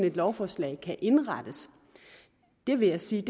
et lovforslag kan indrettes jeg vil sige at